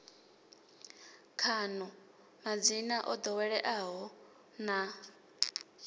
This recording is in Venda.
khaḽo madzina o ḓoweleaho na